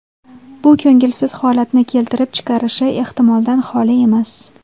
Bu ko‘ngilsiz holatni keltirib chiqarishi ehtimoldan xoli emas.